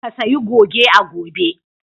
Ka sayi goge a gobe!